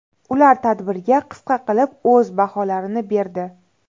Ular tadbirga qisqa qilib o‘z baholarini berdi.